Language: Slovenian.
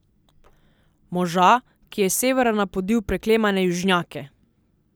Moža, ki je s severa napodil preklemane južnjake!